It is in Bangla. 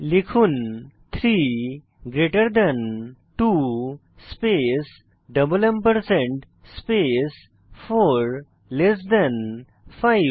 লিখুন 3 greater than 2 space double ampersand space 4 less than 5